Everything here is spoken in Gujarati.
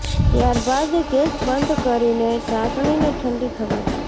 ત્યાર બાદ ગેસ બંધ કરીને ચાસણીને ઠંડી થવા દો